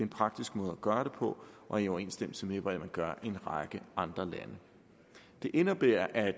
praktisk måde at gøre det på og i overensstemmelse med hvordan man gør i en række andre lande det indebærer at